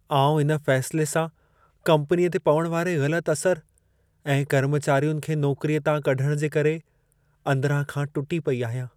आउं इन फ़ैसिले सां कंपनीअ ते पवण वारे ग़लतु असर ऐं कर्मचारियुनि खे नौकरीअ तां कढण जे करे अंदिरां खां टुटी पेई आहियां।